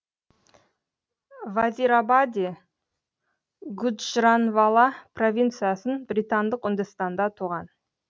вазирабаде гуджранвала провинциясын британдық үндістанда туған